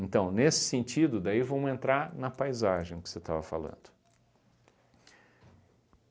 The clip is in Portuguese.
Então, nesse sentido, daí vamos entrar na paisagem que você estava falando.